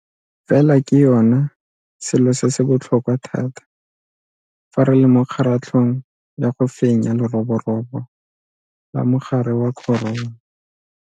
Fela ke yona selo se se botlhokwa thata fa re le mo kgaratlhong ya go fenya leroborobo la mogare wa corona.